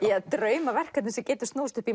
draumaverkefni sem getur snúist upp í